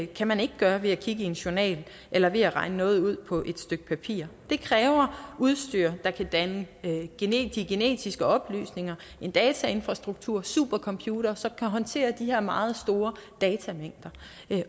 kan man ikke gøre ved at kigge i en journal eller ved at regne noget ud på stykke papir det kræver udstyr der kan danne de genetiske oplysninger en datainfrastruktur og super computere som kan håndtere de her meget store datamængder